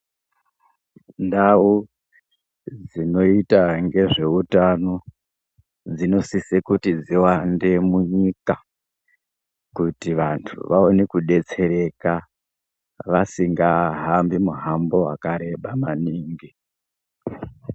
Ndau dzinoita ngezveutano dzinosise kuti dziwande munyika kuti vandu vaone kudetsereka vasingahambi muhambo wakareba maningi.